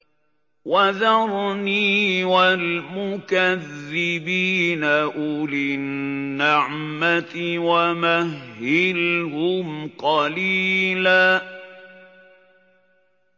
وَذَرْنِي وَالْمُكَذِّبِينَ أُولِي النَّعْمَةِ وَمَهِّلْهُمْ قَلِيلًا